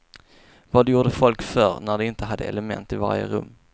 Vad gjorde folk förr när de inte hade element i varje rum?